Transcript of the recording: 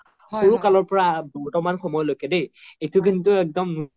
সৰু কালৰ পৰা বৰ্তমান সময়লৈকে দই এইতো কিন্তু একদম